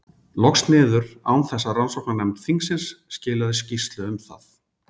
loks niður, án þess að rannsóknarnefnd þingsins skilaði skýrslu um það.